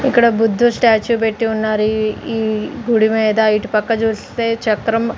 ఇక్కడ బుద్ధుడి స్టాచ్యూ పెట్టి ఉన్నారు ఇ ఈ గుడిమీద ఇటు పక్క చూస్తే చక్రం --